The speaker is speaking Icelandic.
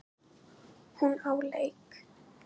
Hún á leik.